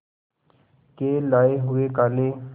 के लाए हुए काले